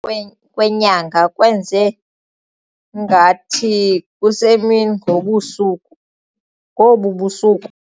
Kwe kwenyanga kwenze ngathi kusemini ngobusuku ngobu busuku.